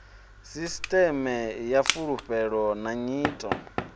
sisiṱeme ya fulufhelo na nyito